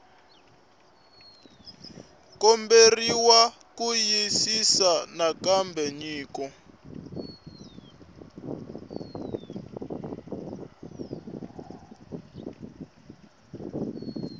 komberiwa ku xiyisisisa nakambe nyiko